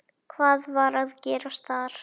Hvað var að gerast þar?